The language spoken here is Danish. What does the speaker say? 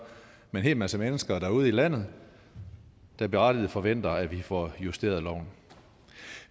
med en hel masse mennesker derude i landet der berettiget forventer at vi får justeret loven